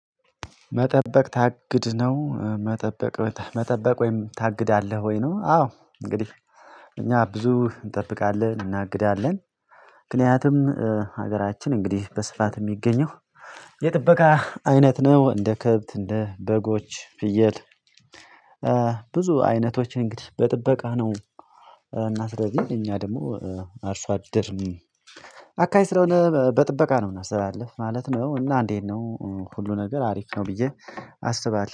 መጠበቅ ታግድ ነው መጠበቅ መጠበቅ ወይም ታግዳለህ ወይ ነው? አዎ እንግዲህ እኛ ብዙ እንጠብቃለን እናግዳለን። ምክንያቱም ሀገራችን እንግዲህ በስፋት የሚገኘው የጥበቃ አይነት ነው እንደ ከብት እንደ በጎች ፍየት። ብዙ አይነቶችን እንግዲህ በጥበቃ ነው እና ስለዚህ እኛ ደግሞ አርሶ አደርን አካይ ስለሆነ በጥበቃ ነው ምንስተላልፍ ማለት ነው። እና እንዴት ነው? ሁሉ ነገር አሪፍ ነው ብዬ አስባለሁ